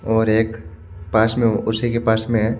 और एक पास में उसी के पास में एक--